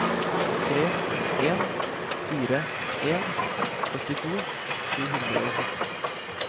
tre en fire en førtito sju hundre og fjorten